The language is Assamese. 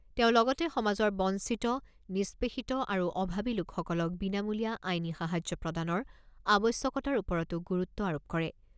তেওঁ লগতে সমাজৰ বঞ্চিত, নিষ্পেষিত আৰু অভাবি লোকসকলক বিনামূলীয়া আইনী সাহায্য প্ৰদানৰ আৱশ্যকতাৰ ওপৰতো গুৰুত্ব আৰোপ কৰে।